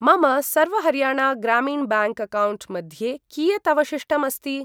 मम Sarva Haryana Gramin bank account मध्ये कियत् अवशिष्टम् अस्ति?